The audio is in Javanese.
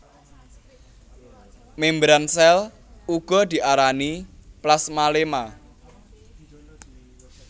Mèmbran sèl uga diarani plasmaléma